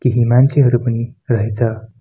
केही मान्छेहरु पनि रहेछ।